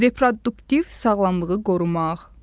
Reproduktiv sağlamlığı qorumaq.